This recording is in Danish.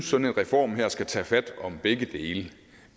sådan en reform her skal tage fat om begge dele